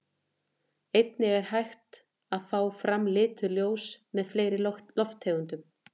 Einnig er hægt að fá fram lituð ljós með fleiri lofttegundum.